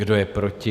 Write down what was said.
Kdo je proti?